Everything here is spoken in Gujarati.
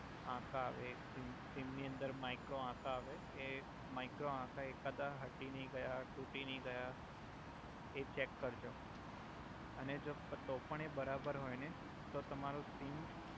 આકા આવે એક સીમ સીમ ની અંદર માઈક્રો આકા આવે એ માઈક્રો આકા એકાદા હટી નઈ ગયા ટુટી નઈ ગયા એ ચેક કરજો અને જો તો પણ એ બરાબર હોય ને તો તમારો સીમ